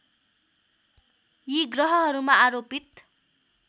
यी ग्रहहरूमा आरोपित